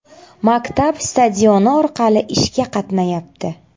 Maktab stadioni orqali ishga qatnayapti.